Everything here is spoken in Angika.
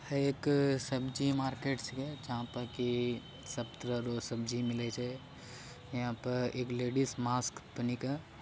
एक सब्जी मार्केट छे जहां पर की सब तरह के सब्जी मिले छे यहां पर एक लेडी मस्क पहनी छे ।